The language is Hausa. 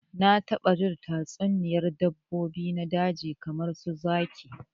Na taba jin tatsuniyar dabbobi na daji kamar su zaki